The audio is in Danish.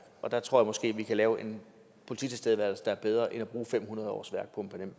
og der tror jeg måske vi kunne lave en polititilstedeværelse der er bedre end at bruge fem hundrede årsværk